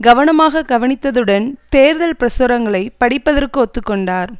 கவனமாக கவனித்ததுடன் தேர்தல் பிரசுரங்களை படிப்பதற்கு ஒத்து கொண்டார்